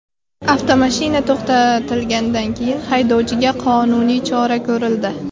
Avtomashina to‘xtatilgandan keyin haydovchiga qonuniy chora ko‘rildi.